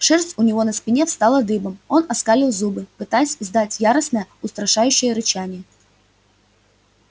шерсть у него на спине встала дыбом он оскалил зубы пытаясь издать яростное устрашающее рычание